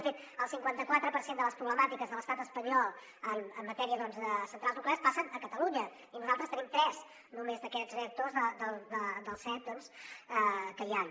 de fet el cinquanta quatre per cent de les problemàtiques de l’estat espanyol en matèria de centrals nuclears passen a catalunya i nosaltres en tenim tres només d’aquests reactors dels set doncs que hi han